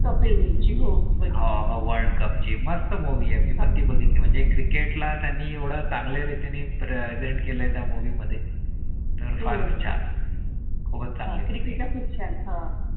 कपिल देव ची हो . हा world cup ची मस्त movie आहे पण ती बघितली म्हणजे Cricket ला त्यांनी एवढय़ा चांगल्या रीतीने present केले त्या movie मध्ये. तर फारच छान. हो चालेल. Cricket खूप छानहा